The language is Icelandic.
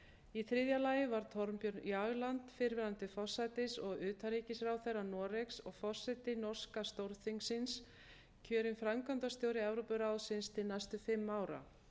í þriðja lagi var thorbjørn jagland fyrrverandi forsætis og utanríkisráðherra noregs og forseti norska stórþingsins kjörinn framkvæmdastjóri evrópuráðsins til næstu fimm ára